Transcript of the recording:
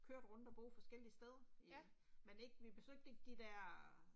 Kørte rundt og bo forskellige steder. Men ikke, vi besøgte ikke de der